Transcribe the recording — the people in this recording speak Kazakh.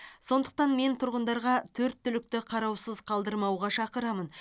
сондықтан мен тұрғындарға төрт түлікті қараусыз қалдырмауға шақырамын